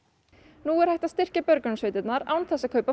nú er hægt að styrkja björgunarsveitirnar án þess að kaupa